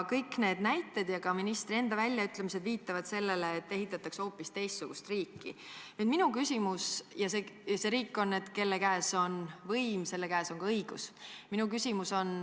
Kõik need näited ja ka ministri väljaütlemised viitavad sellele, et ehitatakse hoopis teistsugust riiki, ja see on riik, kus kelle käes on võim, selle käes on ka õigus.